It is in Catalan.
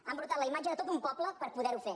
ha embrutat la imatge de tot un poble per poder ho fer